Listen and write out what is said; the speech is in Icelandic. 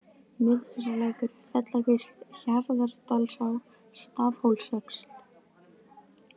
Miðhúsalækur, Fellakvísl, Hjarðardalsá, Stafshólsöxl